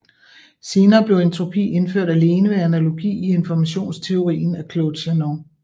Senere blev entropi indført alene ved analogi i informationsteorien af Claude Shannon